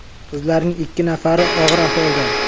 Qizlarning ikki nafari og‘ir ahvolda.